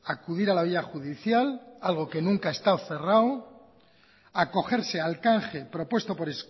acudir a la vía judicial algo que nunca ha estado cerrado acogerse al canje propuesto por